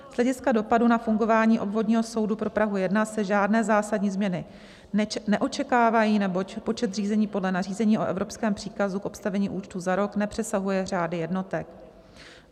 Z hlediska dopadu na fungování Obvodního soudu pro Prahu 1 se žádné zásadní změny neočekávají, neboť počet řízení podle nařízení o evropském příkazu k obstavení účtu za rok nepřesahuje řády jednotek.